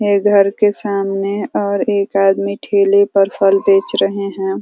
मेरे घर के सामने और एक आदमी ठेले पर फल बेच रहे हैं।